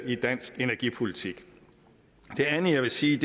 i dansk energipolitik det andet jeg vil sige